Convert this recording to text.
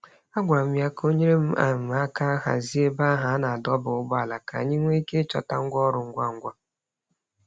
A gwara m ya ka o nyere um aka hazie ebe ahụ a na-adọba ụgbọala ka anyị nwee ike ịchọta ngwa ọrụ ngwa ngwa.